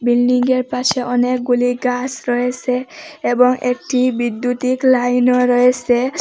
Building য়ের পাশে অনেকগুলি গাছ রয়েসে এবং একটি বিদ্যুতিক লাইনও রয়েসে ।